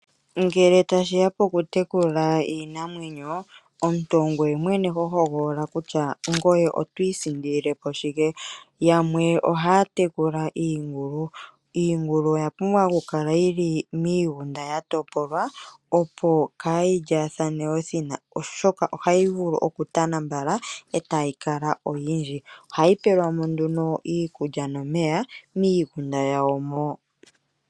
Ngele tashi ya pokutekula iinamwenyo, omuntu ongoye mwene ho tokola kutya ngoye oto isindilile po shike. Yamwe ohaya tekula iingulu. Iingulu oya pumbwa okukala yi li miigunda ya topolwa, opo kaayi lyaathane othina, oshoka tana mbala e tayi kala oyindji. Ohayi pelwa mo nduno iikulya nomeya miigunda yawo mo.